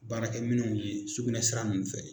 Baarakɛminɛnw ɲɛɲini sukunɛ sira ninnu fɛ.